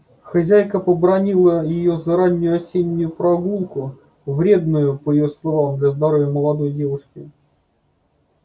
хозяйка побранила её за раннюю осеннюю прогулку вредную по её словам для здоровья молодой девушки